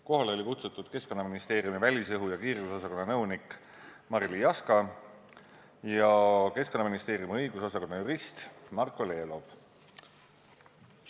Kohale olid kutsutud Keskkonnaministeeriumi välisõhu ja kiirgusosakonna nõunik Marily Jaska ja Keskkonnaministeeriumi õigusosakonna jurist Marko Lelov.